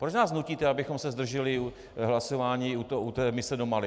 Proč nás nutíte, abychom se zdrželi hlasování u té mise do Mali?